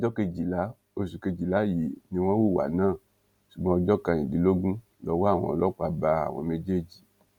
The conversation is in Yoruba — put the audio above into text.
ọjọ kejìlá oṣù kejìlá yìí ni wọn hùwà náà ṣùgbọn ọjọ kẹrìndínlógún lowó àwọn ọlọpàá bá àwọn méjèèjì